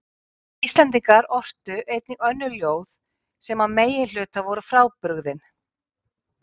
En Íslendingar ortu einnig önnur ljóð sem að meginhluta voru frábrugðin